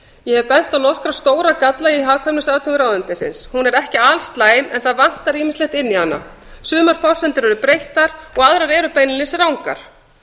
ég hef bent á nokkra stóra galla í hagkvæmniathugun ráðuneytisins hún er ekki alslæm en það vantar ýmislegt inn í hana sumar forsendur eru breyttar og aðrar beinlínis rangar